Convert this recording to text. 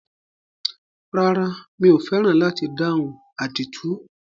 Rárá, mi ò fẹ́ràn láti dáhùn àdìtú.